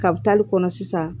Kabi taali kɔnɔ sisan